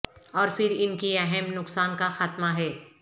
اور پھر ان کی اہم نقصان کا خاتمہ ہے